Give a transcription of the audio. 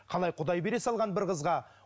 қалай құдай бере салған бір қызға